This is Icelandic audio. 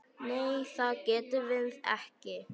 Nei það getum við ekki.